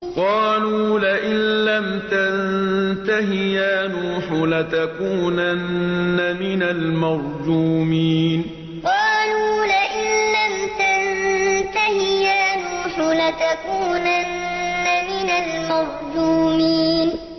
قَالُوا لَئِن لَّمْ تَنتَهِ يَا نُوحُ لَتَكُونَنَّ مِنَ الْمَرْجُومِينَ قَالُوا لَئِن لَّمْ تَنتَهِ يَا نُوحُ لَتَكُونَنَّ مِنَ الْمَرْجُومِينَ